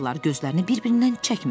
Gözlərini bir-birindən çəkmədilər.